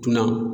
Dunan